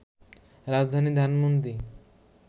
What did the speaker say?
রাজধানী ধানমণ্ডি